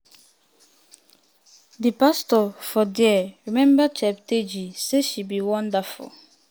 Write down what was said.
di pastor for dia remember cheptegei say she be "wonderful